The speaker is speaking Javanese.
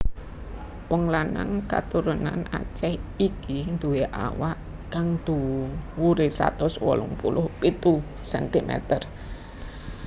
Wong lanang katurunan Aceh iki nduwé awak kang dhuwuré satus wolung puluh pitu centimeter